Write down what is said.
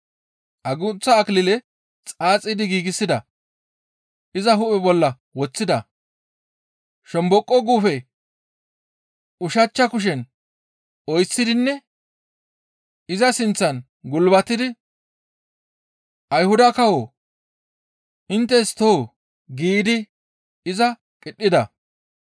Agunththa akilile xaaxidi giigsida; iza hu7e bolla woththida; shomboqo guufe ushachcha kushen oyththidinne iza sinththan gulbatidi, «Ayhuda kawoo! Inttes too!» giidi iza qidhida.